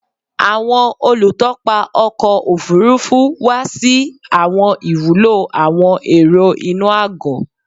Awọn olutọpa ọkọ ofurufu wa si awọn iwulo awọn ero inu agọ